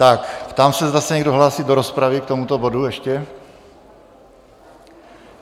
Tak ptám se, zda se někdo hlásí do rozpravy k tomuto bodu ještě?